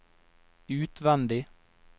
utvendig